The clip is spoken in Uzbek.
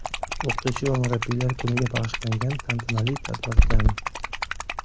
O‘qituvchi va murabbiylar kuniga bag‘ishlangan tantanali tadbirdan.